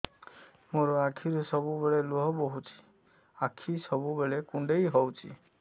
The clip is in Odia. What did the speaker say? ମୋର ଆଖିରୁ ସବୁବେଳେ ଲୁହ ବୋହୁଛି ଆଖି ସବୁବେଳେ କୁଣ୍ଡେଇ ହଉଚି